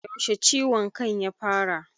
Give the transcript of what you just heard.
Yaushe ciwon kan ya fara?